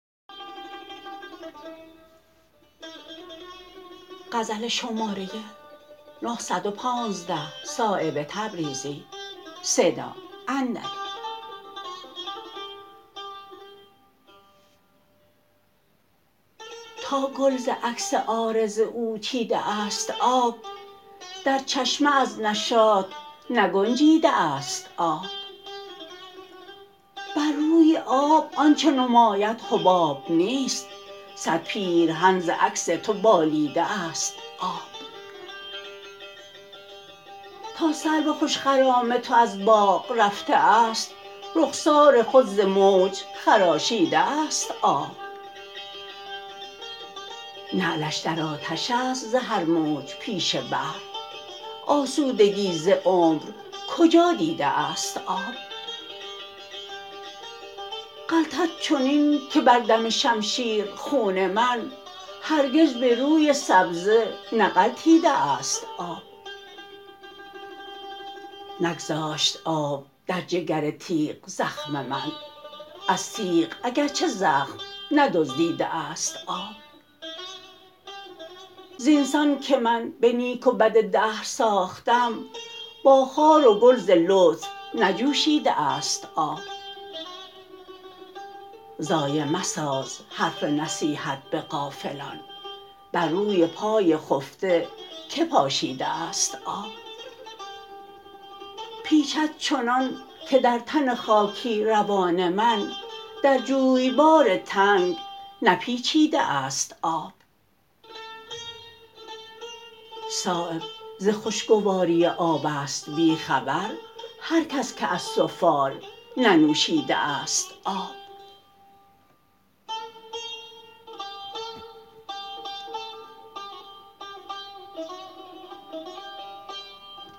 تا گل ز عکس عارض او چیده است آب در چشمه از نشاط نگنجیده است آب بر روی آب آنچه نماید حباب نیست صد پیرهن ز عکس تو بالیده است آب تا سرو خوش خرام تو از باغ رفته است رخسار خود ز موج خراشیده است آب نعلش در آتش است ز هر موج پیش بحر آسودگی ز عمر کجا دیده است آب غلطد چنین که بر دم شمشیر خون من هرگز به روی سبزه نغلطیده است آب نگذاشت آب در جگر تیغ زخم من از تیغ اگر چه زخم ندزدیده است آب زینسان که من به نیک و بد دهر ساختم با خار و گل ز لطف نجوشیده است آب ضایع مساز حرف نصیحت به غافلان بر روی پای خفته که پاشیده است آب پیچد چنان که در تن خاکی روان من در جویبار تنگ نپیچیده است آب صایب ز خوشگواری آب است بی خبر هر کس که از سفال ننوشیده است آب